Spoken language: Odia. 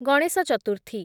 ଗଣେଶ ଚତୁର୍ଥୀ